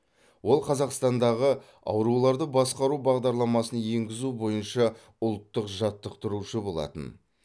ол қазақстандағы ауруларды басқару бағдарламасын енгізу бойынша ұлттық жаттықтырушы болатын